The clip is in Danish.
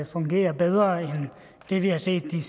fungerer bedre end det vi har set de